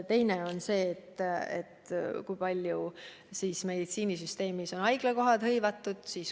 Teine on see, kui paljud haiglakohad on hõivatud.